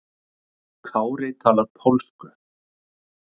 Kári talar pólsku.